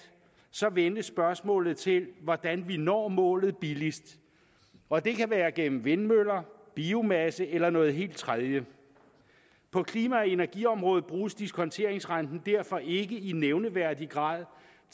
så vendes spørgsmålet til hvordan vi når målet billigst og det kan være gennem vindmøller biomasse eller noget helt tredje på klima og energiområdet bruges diskonteringsrenten derfor ikke i nævneværdig grad